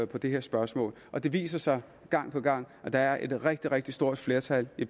på det her spørgsmål og det viser sig gang på gang at der er et rigtig rigtig stort flertal i